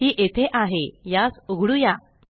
हि येथे आहे यास उघडुया